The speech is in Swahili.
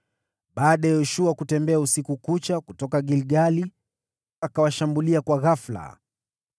Baada ya Yoshua kutembea usiku kucha kutoka Gilgali, akawashambulia ghafula.